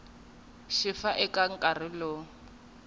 xi va eka nkarhi lowu